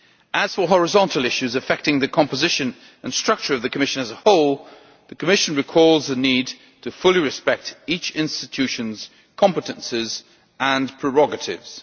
As for horizontal issues affecting the composition and structure of the Commission as a whole, the Commission recalls the need to fully respect each Institution's competences and prerogatives.